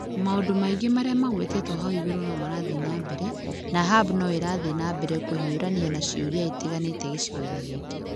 Maũndũ maingĩ marĩa magwetetwo hau igũrũ nĩ marathiĩ na mbere, na hub no ĩrathiĩ na mbere kũhiũrania na ciũria itiganĩte gĩcigo-inĩ gĩkĩ.